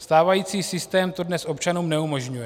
Stávající systém to dnes občanům neumožňuje.